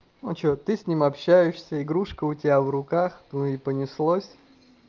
а что ты с ним общаешься игрушка у тебя в руках ну и понеслось